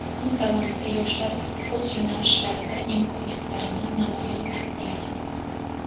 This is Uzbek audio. Kun davomida yoshlar o‘z yo‘nalishlarida imkoniyatlarini namoyon etdilar.